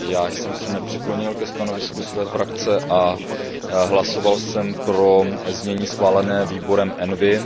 Já jsem se nepřiklonil ke stanovisku své frakce a hlasoval jsem pro znění schválené výborem ENVI.